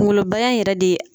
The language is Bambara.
Kunkoloba in yɛrɛ de ye